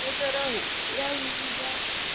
дорогой я за себя